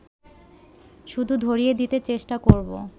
শুধু ধরিয়ে দিতে চেষ্টা করব